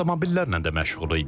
Avtomobillərlə də məşğuluq idi.